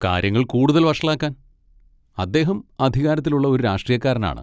കാര്യങ്ങൾ കൂടുതൽ വഷളാക്കാൻ, അദ്ദേഹം അധികാരത്തിലുള്ള ഒരു രാഷ്ട്രീയക്കാരനാണ്.